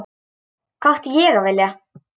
Hvað átti ég að vilja?